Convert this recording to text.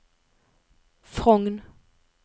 Frogn